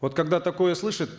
вот когда такое слышит